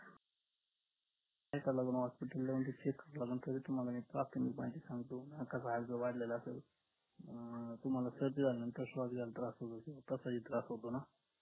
hospital ला येऊन तुम्हाला तरी मी प्राथमिक माहिती सांगतो नकाच हाड जर वाढलेलं असेल अं तुम्हाला सर्दी झल्यानंतर शवास घ्यायला त्रास होतो तसा ही त्रास होतो ना